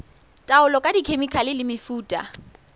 taolo ka dikhemikhale le mefuta